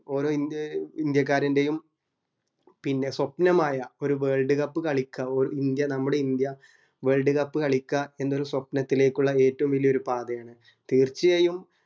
ഓരോ ഇ ഏർ ഇന്ത്യക്കാരൻറെയും സ്വപ്നമായ ഒരു world cup കാളിക്ക ഓർ ഇന്ത്യ നമ്മുടെ ഇന്ത്യ world cup കളിക്കുഅ എന്നുള്ള ഏറ്റോം വല്യ സ്വപ്നത്തിലേക്കുള്ള ഒരു പാതയാണ് തീർച്ചയായും